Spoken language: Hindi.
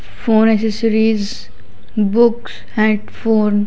phone accessories book headphone --